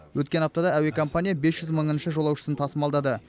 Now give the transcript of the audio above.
өткен аптада әуе компания бес жүз мыңыншы жолаушысын тасымалдады